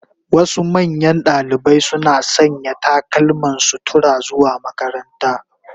Wasu manyan dalibai suna sanya takalman sutura zuwa makaranta.